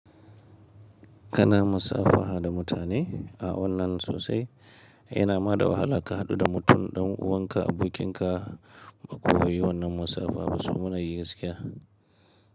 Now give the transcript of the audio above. Kana musafaha da mutane a wannan sosai yana ma da wahala ka haɗu da mutum ɗan uwanka, abokinka ba kuyi wannan musafaha ba su munayi gaskiya.